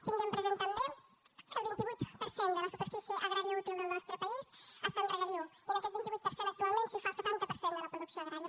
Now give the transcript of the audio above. tinguem present també que el vint vuit per cent de la superfície agrària útil del nostre país està en regadiu i en aquest vint vuit per cent actualment s’hi fa el setanta per cent de la producció agrària